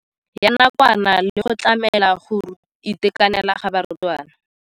Ya nakwana le go tlamela go itekanela ga barutwana.